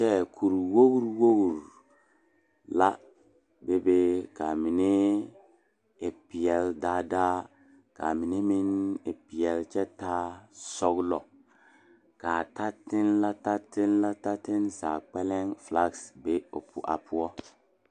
Lɔɛ kuri woo woo la be be kaa mine e peɛle daa daa kaa mine meŋ e peɛle kyɛ taa sɔgelɔ kaa tatenne la tatenne la zaa kpɛlɛŋ felaa be o a poɔ